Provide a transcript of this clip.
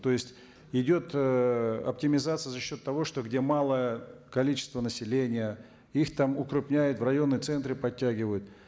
то есть идет ыыы оптимизация за счет того что где малое количество населения их там укрепняют в районные центры поттягивают